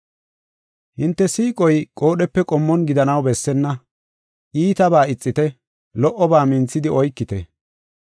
Hinte siiqoy qoodhepe qommon gidanaw bessenna. Iitaba ixite; lo77oba minthidi oykite.